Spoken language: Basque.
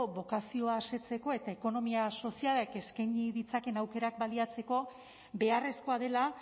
bokazioa asetzeko eta ekonomia sozialak eskaini ditzakeen aukerak baliatzeko beharrezkoa dela